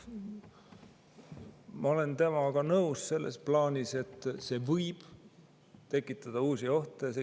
Ma olen temaga nõus selles plaanis, et see võib tekitada uusi ohte.